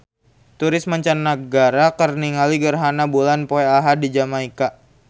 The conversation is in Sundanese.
Turis mancanagara keur ningali gerhana bulan poe Ahad di Jamaika